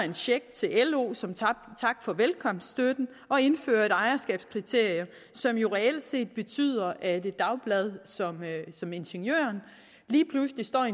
en check til lo som tak for velkomstsstøtten og indfører et ejerskabskriterie som jo reelt set betyder at et dagblad som ingeniøren lige pludselig står i